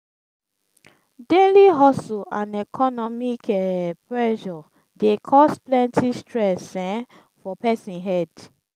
daily hustle and economic um pressure dey cause plenty stress um for pesin head.